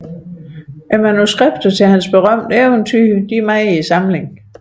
Manuskripterne til hans berømte eventyr er i samlingen